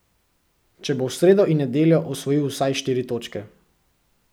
Če bo v sredo in nedeljo osvojil vsaj štiri točke ...